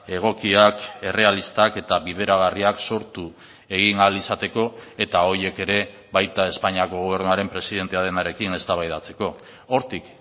egokiak errealistak eta bideragarriak sortu egin ahal izateko eta horiek ere baita espainiako gobernuaren presidentea denarekin eztabaidatzeko hortik